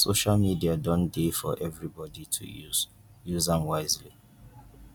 social media don dey for evribodi to use use am wisely